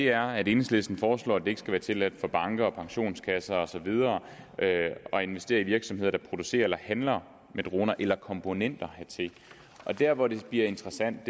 er at enhedslisten foreslår at det ikke skal være tilladt for banker og pensionskasser og så videre at investere i virksomheder der producerer eller handler med droner eller komponenter hertil der hvor det bliver interessant